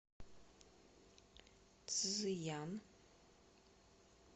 цзыян